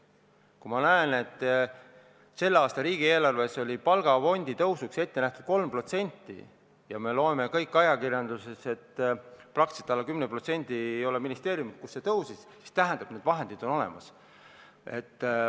Kui ma näen, et selle aasta riigieelarves oli palgafondi suurendamiseks ette nähtud 3%, ja me loeme kõik ajakirjandusest, et ei ole ministeeriumi, kus see suurenes alla 10%, siis tähendab, et vahendid on olemas.